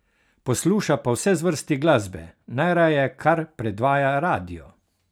Posluša pa vse zvrsti glasbe, najraje kar predvaja radio.